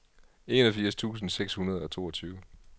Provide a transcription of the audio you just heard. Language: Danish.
enogfirs tusind seks hundrede og toogtyve